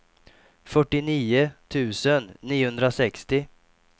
fyrtionio tusen niohundrasextio